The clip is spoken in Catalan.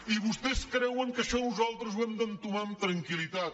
i vostès creuen que això nosaltres ho hem d’entomar amb tranquillitat